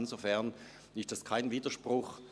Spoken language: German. Insofern ist zurückschauen kein Widerspruch.